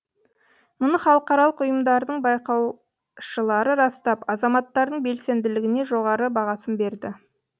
мұны халықаралық ұйымдардың байқаушылары растап азаматтардың белсенділігіне жоғары бағасын берді